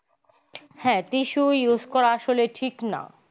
হ্যা tissue use করা আসলে ঠিক না।